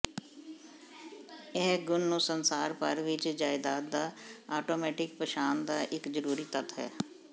ਇਹ ਗੁਣ ਨੂੰ ਸੰਸਾਰ ਭਰ ਵਿੱਚ ਜਾਇਦਾਦ ਦਾ ਆਟੋਮੈਟਿਕ ਪਛਾਣ ਦਾ ਇੱਕ ਜ਼ਰੂਰੀ ਤੱਤ ਹੈ